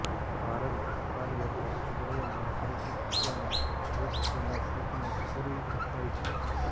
ધારેલું કાર્ય પણ તેઓ ન કરી શક્યાનું દુઃખ તેમનાં ચિત્તને કોરી ખાય છે